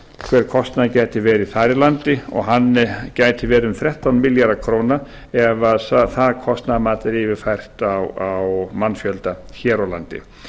hver kostnaður gæti verið þar í landi og hann gæti verið um þrettán milljarðar króna ef það kostnaðarmat er yfirfært á mannfjölda hér á landi